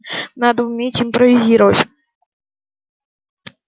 надо уметь импровизировать